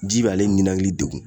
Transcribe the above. Ji b'ale ninakili degun